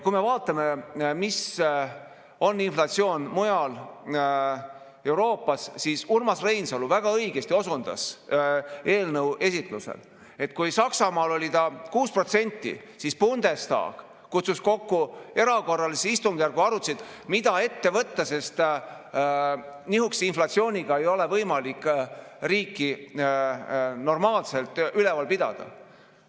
Kui me vaatame, mis on inflatsioon mujal Euroopas, siis Urmas Reinsalu väga õigesti osundas eelnõu esitusel, et kui Saksamaal oli see 6%, siis Bundestag kutsus kokku erakorralise istungjärgu, nad arutasid, mida ette võtta, sest nihukese inflatsiooniga ei ole võimalik riiki normaalselt üleval pidada.